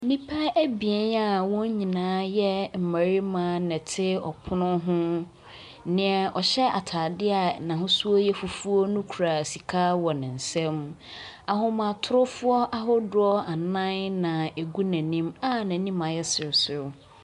Nnipa abien a wɔn nyinaa yɛ mmarima na wɔte ɔpono ho. Nea ɔhyɛ atade a n'ahosuo yɛ fufuo no kura sika wɔ ne nsam. Ahomatorofoɔ ahodoɔ anan na ɛgu n'anim a n'anim ayɛ sereserew.